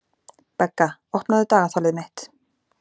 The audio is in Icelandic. Begga, opnaðu dagatalið mitt.